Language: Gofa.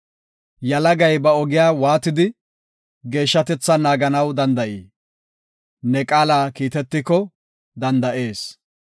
Yalagay ba ogiya waatidi, geeshshatethan naaganaw danda7ii? Ne qaala kiitetiko danda7ees.